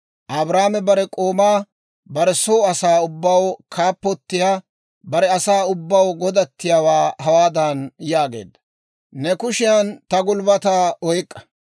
Abrahaame bare k'oomaa, bare soo asaa ubbaw kaappotiyaa, bare asaa ubbaw godattiyaawaa hawaadan yaageedda; «Ne kushiyaan ta gulbbataa oyk'k'a;